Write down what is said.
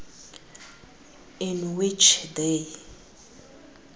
in which they